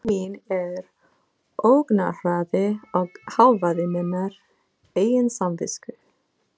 Skynjun mín er ógnarhraði og hávaði minnar eigin samvisku.